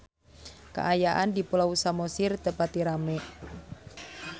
Kaayaan di Pulau Samosir teu pati rame